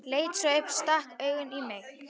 Leit svo upp og stakk augunum í mig.